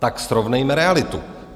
Tak srovnejme realitu.